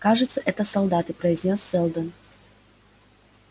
кажется это солдаты произнёс сэлдон